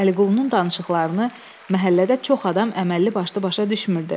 Əliqulunun danışıqlarını məhəllədə çox adam əməlli başlı başa düşmürdü.